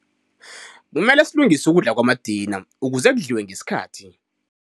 Kumele silungise ukudla kwamadina ukuze kudliwe ngesikhathi.